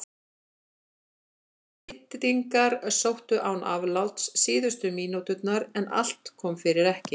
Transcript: Madrídingar sóttu án afláts síðustu mínúturnar en allt kom fyrir ekki.